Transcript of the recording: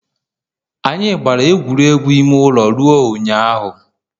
Anyị gbara egwuregwu ime ụlọ ruo ụnyaahụ